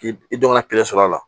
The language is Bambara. K'i dɔgɔnin kelen sɔrɔ a la